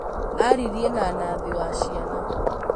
Aririe na Nathi wa ciana